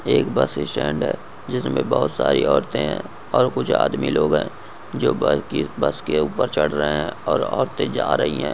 एक bus stand जिसमे बहुत सारे औरते है और कूछ आदमी लोग है जो बाइकी बस के ऊपर चढ़ रहे है और औरते जा रही है।